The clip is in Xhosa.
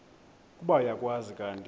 ukuba uyakwazi kanti